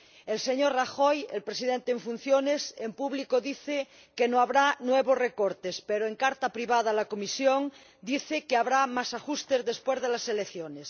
El señor Rajoy, el Presidente en funciones, dice en público que no habrá nuevos recortes, pero en carta privada a la Comisión dice que habrá más ajustes después de las elecciones.